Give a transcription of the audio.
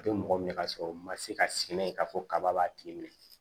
A bɛ mɔgɔ minɛ ka sɔrɔ u ma se ka sigi n'a ye k'a fɔ kaba b'a tigi minɛ